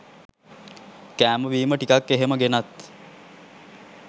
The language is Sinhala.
කෑම බීම ටිකක් එහෙම ගෙනත්